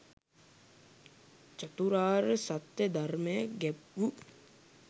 චතුරාර්ය සත්‍ය ධර්මය ගැබ් වූ